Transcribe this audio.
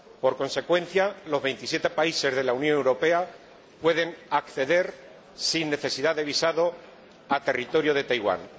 En consecuencia, los 27 países de la Unión Europea pueden acceder sin necesidad de visado al territorio de Taiwán.